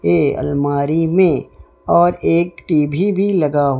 ये अलमारी में और एक टी_वी भी लगा--